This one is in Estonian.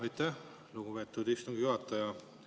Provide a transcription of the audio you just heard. Aitäh, lugupeetud istungi juhataja!